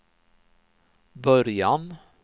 början